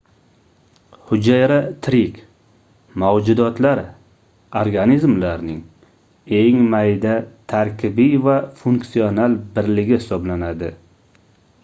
hujayra tirik mavjudotlar organizmlarning eng mayda tarkibiy va funksional birligi hisoblanadi